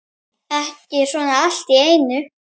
Ekki svona allt í einu.